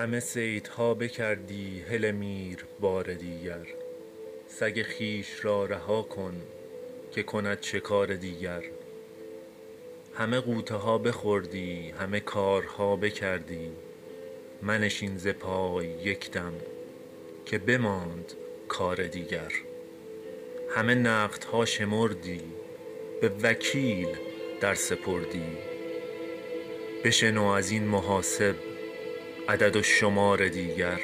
همه صیدها بکردی هله میر بار دیگر سگ خویش را رها کن که کند شکار دیگر همه غوطه ها بخوردی همه کارها بکردی منشین ز پای یک دم که بماند کار دیگر همه نقدها شمردی به وکیل در سپردی بشنو از این محاسب عدد و شمار دیگر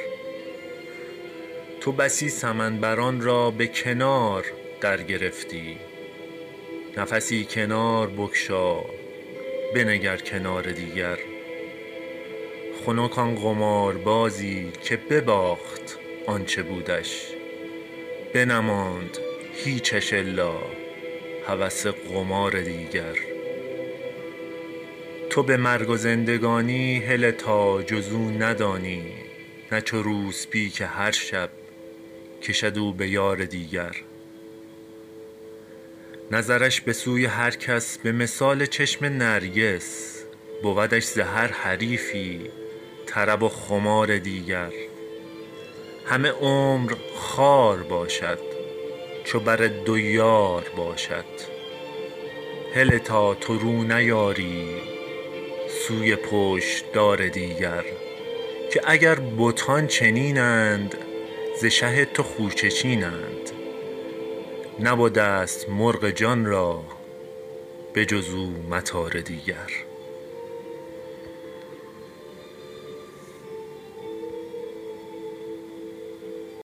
تو بسی سمن بران را به کنار درگرفتی نفسی کنار بگشا بنگر کنار دیگر خنک آن قماربازی که بباخت آ ن چه بودش بنماند هیچش الا هوس قمار دیگر تو به مرگ و زندگانی هله تا جز او ندانی نه چو روسپی که هر شب کشد او به یار دیگر نظرش به سوی هر کس به مثال چشم نرگس بودش ز هر حریفی طرب و خمار دیگر همه عمر خوار باشد چو بر دو یار باشد هله تا تو رو نیاری سوی پشت دار دیگر که اگر بتان چنین اند ز شه تو خوشه چینند نبده ست مرغ جان را به جز او مطار دیگر